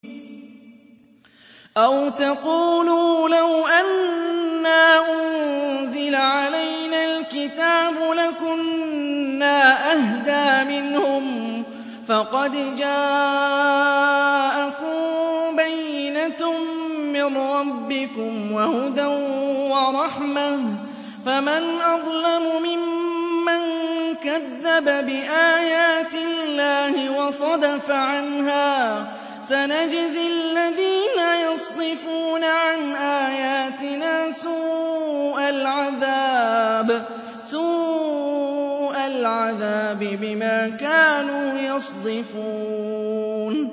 أَوْ تَقُولُوا لَوْ أَنَّا أُنزِلَ عَلَيْنَا الْكِتَابُ لَكُنَّا أَهْدَىٰ مِنْهُمْ ۚ فَقَدْ جَاءَكُم بَيِّنَةٌ مِّن رَّبِّكُمْ وَهُدًى وَرَحْمَةٌ ۚ فَمَنْ أَظْلَمُ مِمَّن كَذَّبَ بِآيَاتِ اللَّهِ وَصَدَفَ عَنْهَا ۗ سَنَجْزِي الَّذِينَ يَصْدِفُونَ عَنْ آيَاتِنَا سُوءَ الْعَذَابِ بِمَا كَانُوا يَصْدِفُونَ